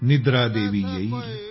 निद्र देवी येईल